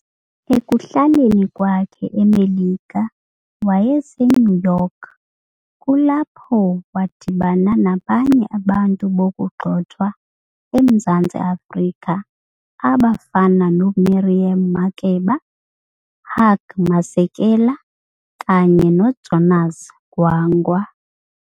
Ekuhlaleni kwakhe emelika wayese New York kulapho wa dibana nabanye abantu bokuqxothwa emzantsi afrika aba fana no Miriam Makeba, Hugh Masekela kanye no Jonas Gwangwa.